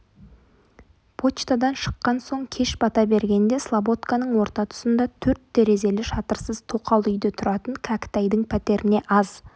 почтадан шыққан соң кеш бата бергенде слободканың орта тұсында төрт терезелі шатырсыз тоқал үйде тұратын кәкітайдың пәтеріне аз